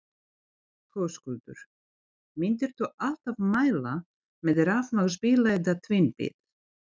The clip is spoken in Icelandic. Höskuldur: Myndir þú alltaf mæla með rafmagnsbíla eða tvinnbíl?